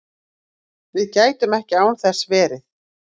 Við gætum ekki án þess verið